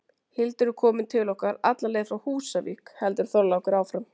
Hildur er komin til okkar alla leið frá Húsavík, heldur Þorlákur áfram.